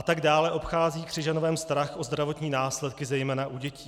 A tak dále obchází Křižanovem strach o zdravotní následky, zejména u dětí.